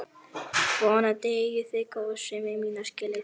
Vonandi eigið þið góðsemi mína skilið.